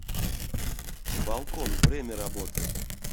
балкон время работы